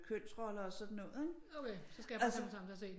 Kønsroller og sådan noget ikke altså